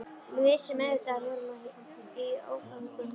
Við vissum auðvitað að við vorum í ógöngum.